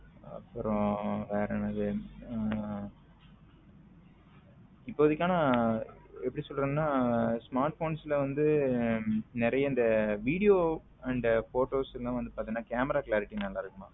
அப்புறம் வேற என்ன இருக்கு இப்போதைக்கு ஆனா எப்படி சொல்றதுன்ன smartphones வந்து நிறைய இந்த video and photos வந்து பாத்தின camara clarity நல்லா இருக்குமா